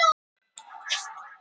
Þeir kalla lundann prófessor.